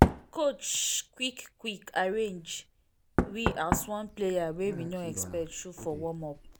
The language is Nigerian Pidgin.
coach quick quick arrange we as one player wey we no expect show for warm up